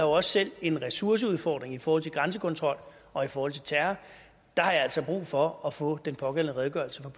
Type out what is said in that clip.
også selv en ressourceudfordring i forhold til grænsekontrol og i forhold til terror har jeg altså brug for at få den pågældende redegørelse